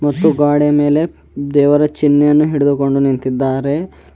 ಹಾಗೂ ಗ್ವಾಡೆಯ ಮೇಲೆ ದೇವರ ಚಿಹ್ನೆಯನ್ನು ಹಿಡಿದುಕೊಂಡು ನಿಂತಿದ್ದಾರೆ.